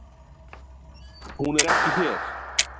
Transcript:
Hún er ekki hér.